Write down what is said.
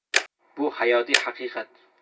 Bu hayotiy haqiqat.